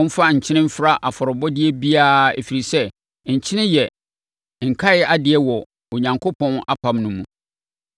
Momfa nkyene mfra afɔrebɔdeɛ biara, ɛfiri sɛ, nkyene yɛ nkaedeɛ wɔ Onyankopɔn apam no mu.